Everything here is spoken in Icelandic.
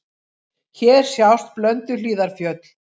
Hér sjást Blönduhlíðarfjöll.